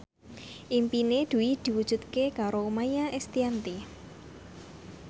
impine Dwi diwujudke karo Maia Estianty